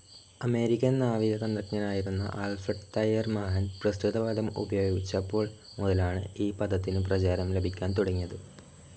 American നാവികതന്ത്രജ്ഞനായിരുന്ന Alfred Thayer Mahan പ്രസ്തുത പദം ഉപയോഗിച്ചപ്പോൾ മുതലാണ്‌ ഈ പദത്തിനു പ്രചാരം ലഭിക്കാൻ തുടങ്ങിയത്.